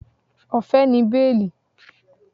Ọ̀fẹ́ ni béèlì